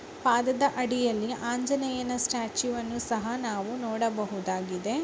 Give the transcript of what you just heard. ಪಾದದ ಅಡಿಯಲ್ಲಿ ಆಂಜನೇಯ ಸ್ಟ್ಯಾಚ್ಯೂವನ್ನು ಸಹಾ ನಾವು ನೋಡಬಹುದಾಗಿದೆ--